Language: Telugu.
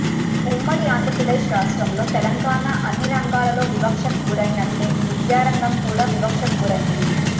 ఉమ్మడి ఆంధ్రప్రదేశ్ రాష్ట్రం లో తెలంగాణ అన్ని రంగాలలో వివక్షకు గురయినట్టే విద్యారంగం కూడా వివక్షకు గురయింది